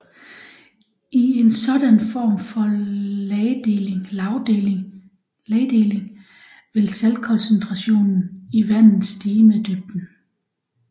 I en sådan form for lagdeling vil saltkoncentrationen i vandet stige med dybden